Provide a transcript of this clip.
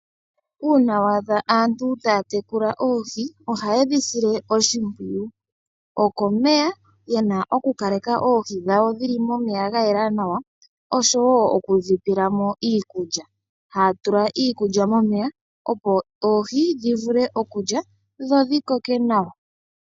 Uuna wa adha aantu taya tekula oohi ohaye dhi sile oshimpwiyu. Okomeya, ye na okukaleka oohi dhawo dhi li momeya ga yela nawa osho wo oku dhi pela mo iikulya. Ohaya tula iikulya momeya, opo oohi dhi vule okulya dho dhi koke nawa.